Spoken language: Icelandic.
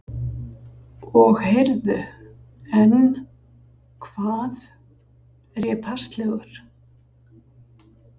Og heyrðu, en, hvað, er ég passlegur?